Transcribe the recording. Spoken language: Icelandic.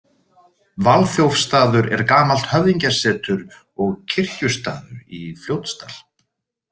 Valþjófsstaður er gamalt höfðingjasetur og kirkjustaður í Fljótsdal.